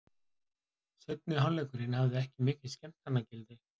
Seinni hálfleikurinn hafði ekki mikið skemmtanagildi.